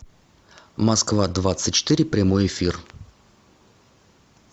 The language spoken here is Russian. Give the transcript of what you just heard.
москва двадцать четыре прямой эфир